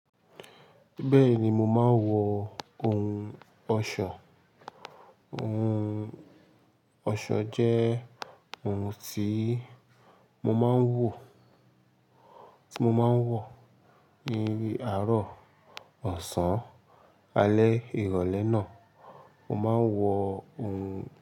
Bẹ́ẹ̀ni, mo máa ń wọ ohun ọ̀ṣọ. Ohun ọ̀ṣọ jẹ́ ohun tí mo máa ń wọ, ti mo máa ń wọ ní àárọ̀ ọ̀sán, alẹ́ ìrọ̀lẹ́ náà, mo máa ń wọ ohun.